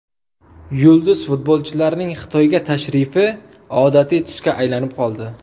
Yulduz futbolchilarning Xitoyga tashrifi odatiy tusga aylanib qoldi.